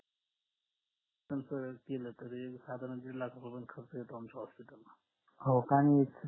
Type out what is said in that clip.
खर्च केला तरी साधारण दीड लाखापर्यंत खर्च येतो आमच्या hospital ला